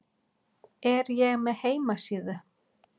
Er ég með heimasíðu?